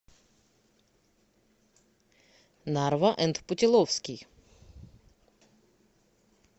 нарва энд путиловский